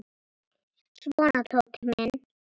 Svona, Tóti minn.